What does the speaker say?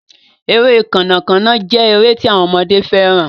Ere Kànnà Kànnà jé èrè tí àwọn ọmọdé féràn.